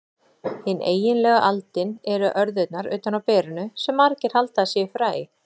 Hin eiginlegu aldin eru örðurnar utan á berinu, sem margir halda að séu fræ.